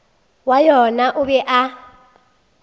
wa yona o be a